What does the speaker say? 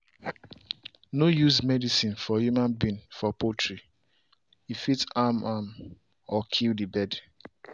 no use medicine for human being for poultry - e fit harm am or kill the bird.